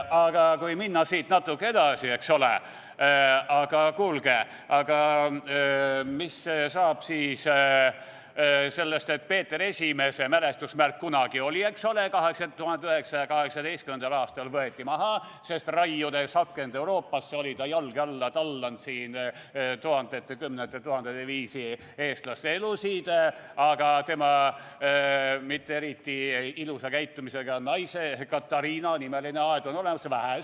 Aga kui minna siit natuke edasi, eks ole, siis kuulge, aga mis saab siis sellest, et Peeter I mälestusmärk kunagi oli, eks ole, aga 1918. aastal võeti maha, sest raiudes akent Euroopasse oli ta siin jalge alla tallanud tuhandete ja kümnete tuhandete eestlase elud, aga tema mitte eriti ilusa käitumisega naise Katariina nimeline aed on olemas?